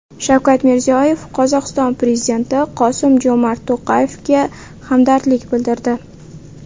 Shavkat Mirziyoyev Qozog‘iston prezidenti Qosim-Jo‘mart To‘qayevga hamdardlik bildirdi.